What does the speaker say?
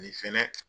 Nin fɛnɛ